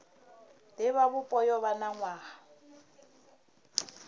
divhavhupo yo vha na nwaha